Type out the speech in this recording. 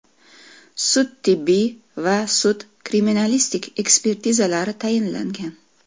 Sud-tibbiy va sud-kriminalistik ekspertizalari tayinlangan.